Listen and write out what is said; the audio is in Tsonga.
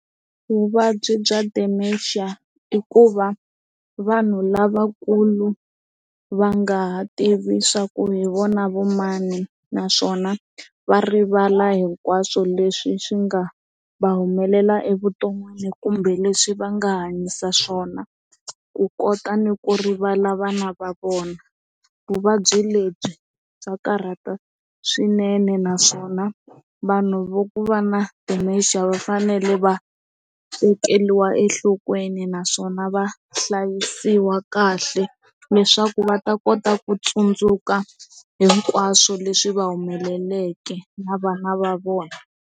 Vuvabyi bya Dementia a i ku va vanhu lavakulu va nga tivi swa ku hi vona vamani naswona va rivala hinkwaswo leswi swi nga va humelela evuton'wini kumbe leswi va nga hanyisa swona ku kota ni ku rivala vana va vona vuvabyi lebyi bya karhata swinene naswona vanhu vo ku va na ti maxele va fanele va tekeriwa enhlokweni naswona va hlayisiwa kahle leswaku va ta kota ku tsundzuka hinkwaswo leswi va humeleleke na vana va vona.